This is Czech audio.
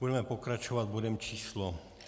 Budeme pokračovat bodem číslo